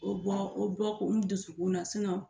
O bɔ o bɔ ko n dusukun na